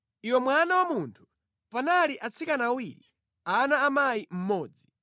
“Iwe mwana wa munthu, panali atsikana awiri ana a mayi mmodzi.